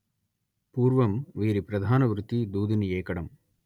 పూర్వం వీరి ప్రధాన వృత్తి దూదిని ఏకడం